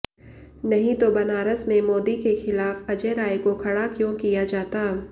नहीं तो बनारस में मोदी के खिलाफ अजय राय को खड़ा क्यों किया जाता